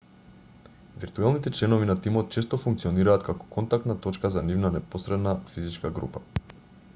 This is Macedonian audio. виртуелните членови на тимот често функционираат како контактна точка за нивната непосредна физичка група